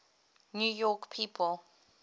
new york people